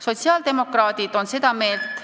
Kolm minutit juurde, palun!